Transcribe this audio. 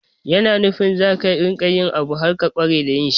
Yana nufin za ka riƙa yin abu har ka ƙware da yin shi.